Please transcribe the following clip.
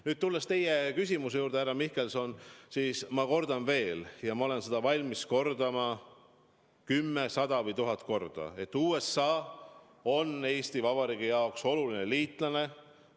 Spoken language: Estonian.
Nüüd, tulles teie küsimuse juurde, härra Mihkelson, ma kordan veel – ja ma olen valmis seda kordama kümme, sada või tuhat korda –, et USA on Eesti Vabariigi jaoks oluline liitlane.